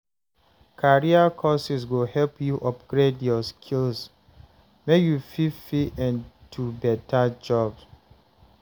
Career courses go help you upgrade your skills make you fit fit into beta jobs.